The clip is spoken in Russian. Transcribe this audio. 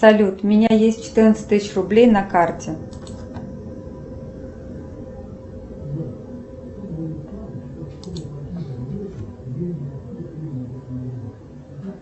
салют у меня есть четырнадцать тысяч рублей на карте